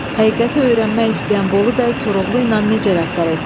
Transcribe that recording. Həqiqəti öyrənmək istəyən Bolu bəy Koroğlu ilə necə rəftar etdi?